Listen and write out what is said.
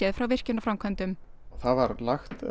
frá virkjunarframkvæmdum það var lagt